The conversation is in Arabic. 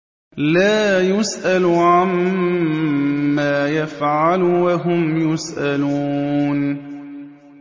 لَا يُسْأَلُ عَمَّا يَفْعَلُ وَهُمْ يُسْأَلُونَ